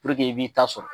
i b'i ta sɔrɔ